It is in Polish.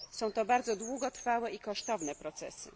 Są to bardzo długotrwałe i kosztowne procesy.